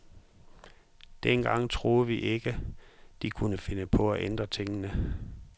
Dengang troede vi jo ikke, de kunne finde på at ændre tingene.